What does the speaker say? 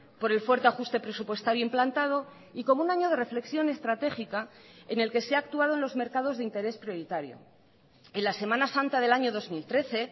por el fuerte ajuste presupuestario implantado y como un año de reflexión estratégica en el que se ha actuado en los mercados de interés prioritario en la semana santa del año dos mil trece